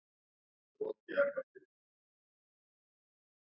Svölnir, hvenær kemur leið númer átta?